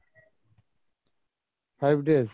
five days?